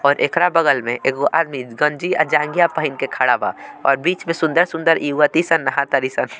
और ऐकरा बगल में एगो आदमी गंजी अ जांघिया पेहिन क खड़ा बा और बिच में सुन्दर-सुन्दर इवती सन नाहा तारी सन।